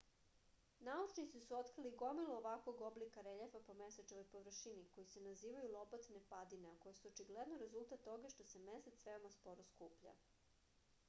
naučnici su otkrili gomilu ovakvog oblika reljefa po mesečevoj površini koji se nazivaju lobatne padine a koje su očigledno rezultat toga što se mesec veoma sporo skuplja